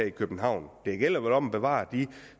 i københavn det gælder vel om at bevare de